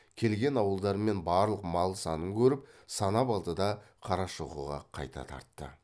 келген ауылдар мен барлық мал санын көріп санап алды да қарашоқыға қайта тартты